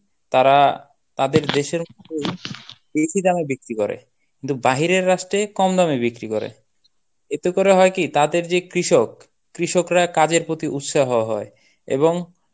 তারা তাদের দেশের বেশি দামে বিক্রি করে, কিন্তু বাহিরের রাষ্ট্রে কম দামে বিক্রি করে. এতে করে হয় কি তাদের যে কৃষক, কৃষকরা কাজের প্রতি উৎসাহ হয় এবং